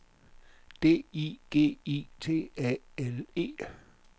D I G I T A L E